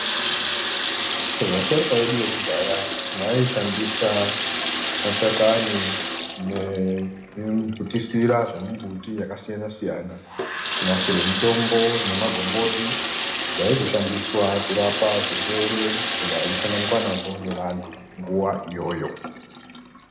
Vasharuka vedu vekudhaya vaishandisa mashakani nekuputisira zvemumbuti yakasiyana-siyana kunasire mutombo nemagomboti zvaizoshandiswa kurapa zvirwere zvaisanganikwa nazvo ngevantu nguwa iyoyo.